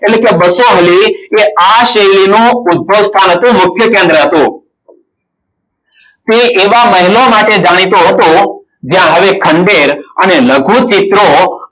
એટલે કે બસો વાળી એ આ શ્રેણીનું ઉદ્ભવ સ્થાન હતું મુખ્ય કેન્દ્ર હતું. તે એવા મહેલો માટે જાણીતું હતું જ્યાં આવી. ખંડેર અને લઘુ ચિત્રો